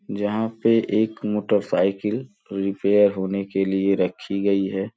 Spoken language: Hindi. जहां पे एक मोटरसाइकिल रिपेयर होने के लिए रखी गई है।